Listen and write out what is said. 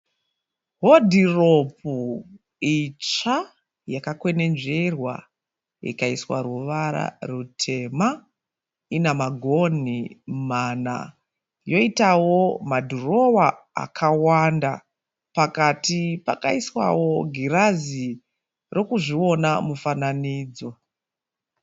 Hodhiropu itsva yakakwenenzverwa ikaiswa ruvara rutema. Ina magonhi mana yoitawo madhirowa akawanda. Pakati pakaiswawo girazi rokuzviona mufananidzo.